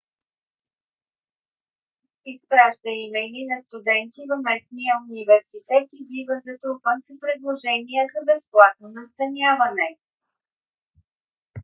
изпраща имейли на студенти в местния университет и бива затрупан с предложения за безплатно настаняване